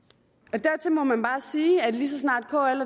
dertil må man bare sige at lige så snart kl